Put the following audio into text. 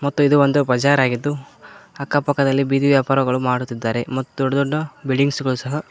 ಮತ್ತೆ ಇದು ಒಂದು ಬಜಾರ್ ಆಗಿದ್ದು ಅಕ್ಕಪಕ್ಕದಲ್ಲಿ ಬೀದಿ ವ್ಯಾಪಾರಗಳು ಮಾಡುತ್ತಿದ್ದಾರೆ ಮತ್ ದೊಡ್ಡ್ ದೊಡ್ ಬಿಲ್ಡಿಂಗ್ಸ್ ಗಳು ಸಹ--